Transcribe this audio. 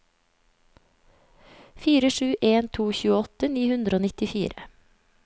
fire sju en to tjueåtte ni hundre og nittifire